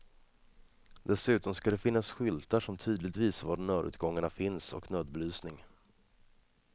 Dessutom ska det finnas skyltar som tydligt visar var nödutgångarna finns, och nödbelysning.